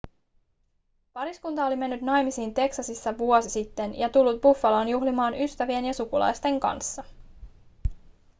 pariskunta oli mennyt naimisiin teksasissa vuosi sitten ja tullut buffaloon juhlimaan ystävien ja sukulaisten kanssa